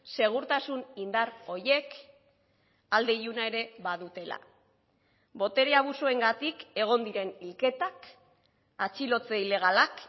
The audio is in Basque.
segurtasun indar horiek alde iluna ere badutela botere abusuengatik egon diren hilketak atxilotze ilegalak